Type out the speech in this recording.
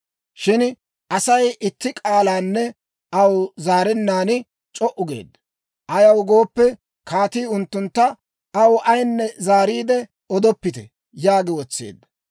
Shin Asay itti k'aalanne aw zaarennaan c'o"u geedda. Ayaw gooppe, kaatii unttuntta, «Aw ayinne zaariide odoppite» yaagi wotseedda.